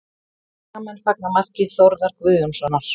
Skagamenn fagna marki Þórðar Guðjónssonar